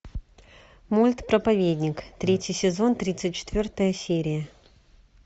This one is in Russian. мульт проповедник третий сезон тридцать четвертая серия